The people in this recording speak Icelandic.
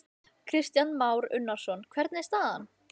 Lillý Valgerður Pétursdóttir: Hvað vilt þú?